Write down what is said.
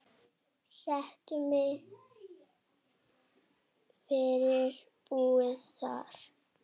Settu mig yfir búið þar.